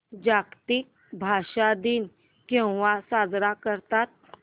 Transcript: जागतिक भाषा दिन केव्हा साजरा करतात